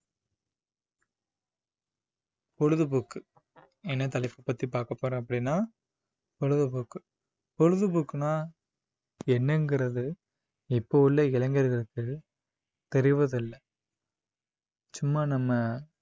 பொழுதுபோக்கு என்ன தலைப்பு பத்தி பார்க்க போறோம் அப்படின்னா பொழுதுபோக்கு பொழுதுபோக்குன்னா என்னங்கிறது இப்ப உள்ள இளைஞர்களுக்கு தெரிவதில்லை சும்மா நம்ம